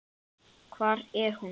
Hvar er hún?